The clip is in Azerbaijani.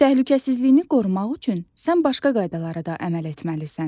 Təhlükəsizliyini qorumaq üçün sən başqa qaydalara da əməl etməlisən.